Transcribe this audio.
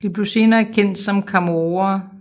De blev senere kendt som chamorroer